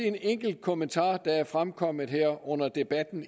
en enkelt kommentar der er fremkommet under debatten